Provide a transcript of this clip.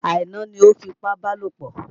Aina ni o fipábalòpọ̀.